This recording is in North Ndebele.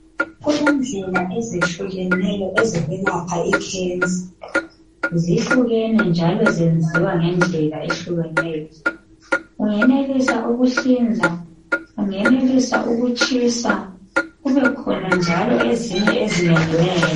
Kulezimo ezitshiyeneyo zekhensa njalo layo ibangelwa yizinto ezihlukeneyo ,ungeneliswa ukuhlinzwa loba ukutshiswa kubekhona njalo ezinye ezingeneliyo.